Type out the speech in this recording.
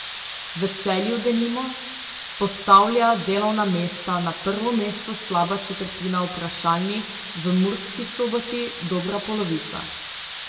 V Celju denimo postavlja delovna mesta na prvo mesto slaba četrtina vprašanih, v Murski Soboti dobra polovica.